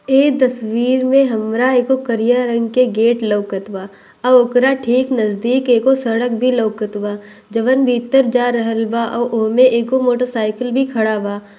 एह तस्वीर में हमरा एगो करिया रंग के गेट लउकत बा और ओकरा ठीक नज़दीक एगो सड़क भी लउकत बा जोवना भीतर जा रहल बा और ओमे एगो मोटर साइकिल भी खड़ा बा।